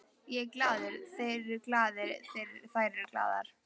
Ég er glaður, þeir eru glaðir, þær eru glaðar.